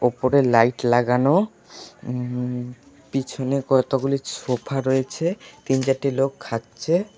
ওপরে লাইট লাগানো উঁ পিছনে কতগুলি সোফা রয়েছে তিন চারটি লোক খাচ্ছে।